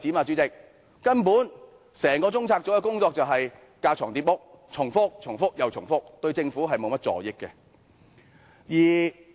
主席，根本整個中策組的工作架床疊屋，重複又重複，對政府沒甚助益。